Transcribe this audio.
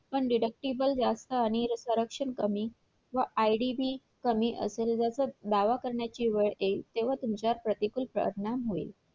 पण Deductible जास्त आणि corruption कमी व IDB कमी असेल दावा करण्याची वेळ येईल तेव्हा तुमच्यावर प्रतिकृत प्रार्थना होईल